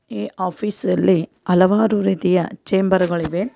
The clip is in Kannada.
ಈ ಆಫೀಸ್ ಅಲ್ಲಿ ಹಲವಾರು ರೀತಿಯ ಚೇಂಬರ್ ಗಳಿವೆ.